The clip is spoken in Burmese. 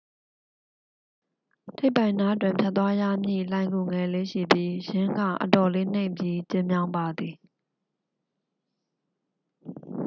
ထိပ်ပိုင်နားတွင် ဖြတ်သွားရမည့် လှိုဏ်ဂူငယ်လေး ရှိပြီး ယင်းက အတော်လေး နိမ့်ပြီး ကျဉ်းမြောင်းပါသည်